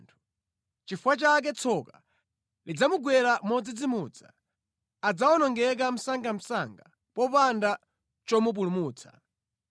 Nʼchifukwa chake tsoka lidzamugwera modzidzimutsa; adzawonongeka msangamsanga popanda chomupulumutsa.